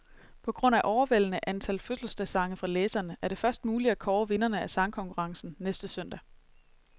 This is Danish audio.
På grund af overvældende antal fødselsdagssange fra læserne, er det først muligt at kåre vinderne af sangkonkurrencen næste søndag.